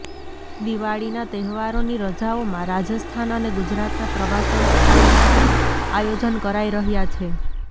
દિવાળીના તહેવારોની રજાઓમાં રાજસ્થાન અને ગુજરાતના પ્રવાસન સ્થળ માટે આયોજન કરાઈ રહ્યા છે